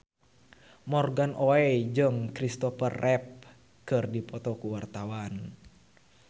Morgan Oey jeung Christopher Reeve keur dipoto ku wartawan